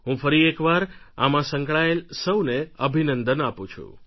હું ફરી એકવાર આમાં સંકળાયેલા સૌને અભિનંદન આપું છું